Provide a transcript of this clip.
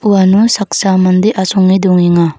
uano saksa mande asonge dongenga.